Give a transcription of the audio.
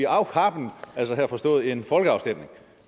auch haben altså her forstået som en folkeafstemning